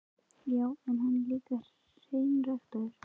Já, en hann er líka hreinræktaður.